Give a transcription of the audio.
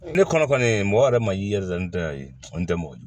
Ne kɔnɔ mɔgɔ yɛrɛ ma i yɛrɛ da n tɛ a ye kɔni tɛ mɔgɔ ye